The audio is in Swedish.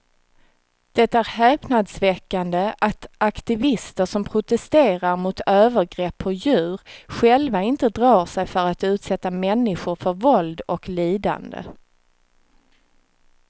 Det är häpnadsväckande att aktivister som protesterar mot övergrepp på djur själva inte drar sig för att utsätta människor för våld och lidande.